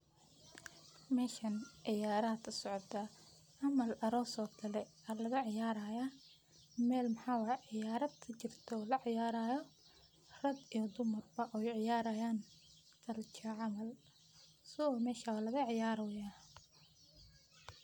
Meshan ciyara aya kasocota, camal aros o kale aa lagaciyarayah, mel maxa wayeh ciyara kajirto laciyarayo rag iyo dumarboo way ciyarayan culture camal soo mesha walaga ciyaroyah.